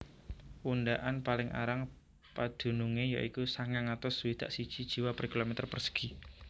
Undaan paling arang padunungé ya iku sangang atus swidak siji jiwa per kilometer persegi